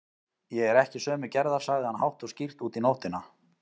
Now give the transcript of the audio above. Ég er ekki sömu gerðar, sagði hann hátt og skýrt út í nóttina.